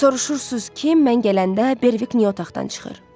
Soruşursunuz ki, mən gələndə Berwick niyə otaqdan çıxır?